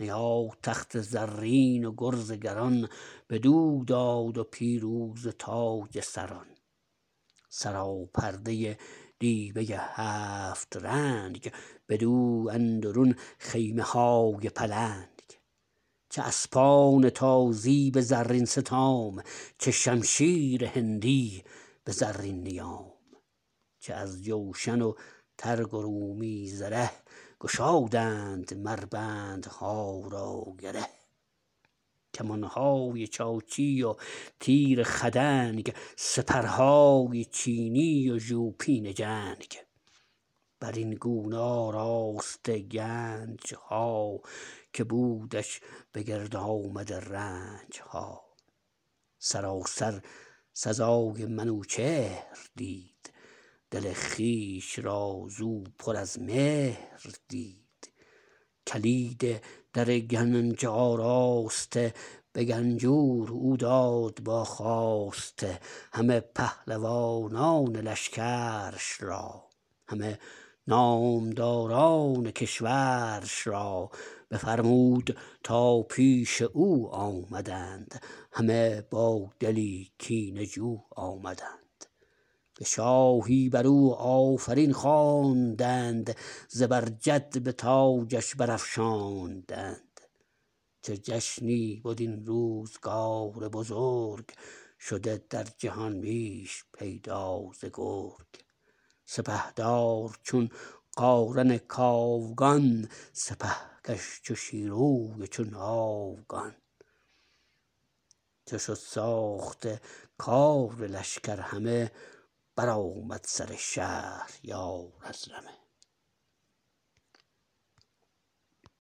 نیا تخت زرین و گرز گران بدو داد و پیروزه تاج سران سراپرده دیبه هفت رنگ بدو اندرون خیمه های پلنگ چه اسپان تازی به زرین ستام چه شمشیر هندی به زرین نیام چه از جوشن و ترگ و رومی زره گشادند مر بندها را گره کمانهای چاچی وتیر خدنگ سپرهای چینی و ژوپین جنگ برین گونه آراسته گنجها که بودش به گرد آمده رنجها سراسر سزای منوچهر دید دل خویش را زو پر از مهر دید کلید در گنج آراسته به گنجور او داد با خواسته همه پهلوانان لشکرش را همه نامداران کشورش را بفرمود تا پیش او آمدند همه با دلی کینه جو آمدند به شاهی برو آفرین خواندند زبرجد به تاجش برافشاندند چو جشنی بد این روزگار بزرگ شده در جهان میش پیدا ز گرگ سپهدار چون قارن کاوگان سپهکش چو شیروی و چون آوگان چو شد ساخته کار لشکر همه برآمد سر شهریار از رمه